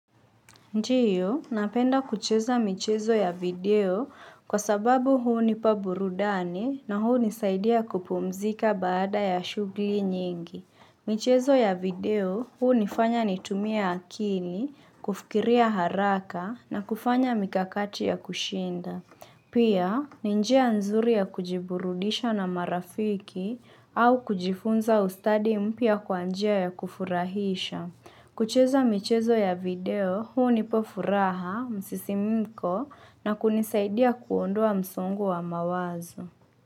Ndio, napenda kucheza michezo ya video kwa sababu hunipa burudani na hunisaidia kupumzika baada ya shughuli nyingi. Michezo ya video hunifanya nitumie akili, kufikiria haraka na kufanya mikakati ya kushinda. Pia, ni njia nzuri ya kujiburudisha na marafiki au kujifunza ustadi mpya kwa njia ya kufurahisha. Kucheza michezo ya video, hunipa furaha, msisimiko na kunisaidia kuondoa msongo wa mawazo.